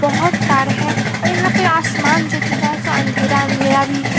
बहोत तार हैं और यहाँ पे आसमान जो दिख रहा सो अंधेरा-अंधेरा भी है।